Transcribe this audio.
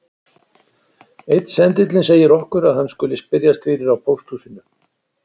Einn sendillinn segir okkur að hann skuli spyrjast fyrir á pósthúsinu